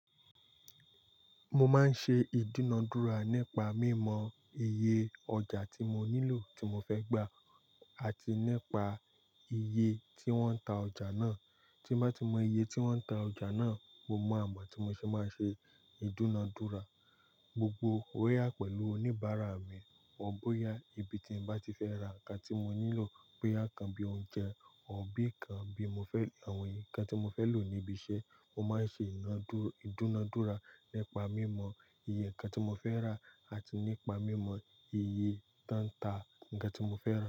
Mo máa ń ṣe ìdúnadúrà nípa mí mọ iye ọjà tí mo nílò tí mo fẹ́ gbà àti nípa iye tí wọ́n ń ta ọjà náà. Tí ń bá ti mọ iye tí wọ́n ń ta ọjà náà, mo mọ àmà tí mo ṣe máa ṣe ìdúnadúrà. Gbogbo ó yà pẹ̀lú oníbàárà mi. Wọn bóyá ibi tí bá ti fẹ́ ra nǹkan tí mo nílò pé boyá kan bí oúnjẹ ò bí kan bí mo fẹ́ àwọn nǹkan tí mo fẹ́ lò níbi iṣẹ́, mo máa ń ṣe ìdúnadúrà nípa mí mọ iye nǹkan tí mo fẹ́ rà àti nípa mí mọ iye tán ta nǹkan tí mo fẹ́ rà.